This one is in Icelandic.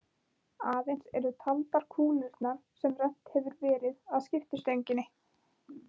Aðeins eru taldar kúlurnar sem rennt hefur verið að skiptistönginni.